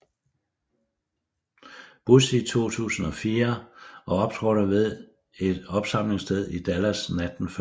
Bush i 2004 og optrådte ved et opsamlingssted i Dallas natten før